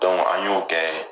an y'o kɛ